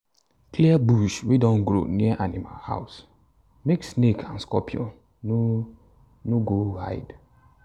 clear bush wey don grow near animal house make snake and scorpion no no go hide.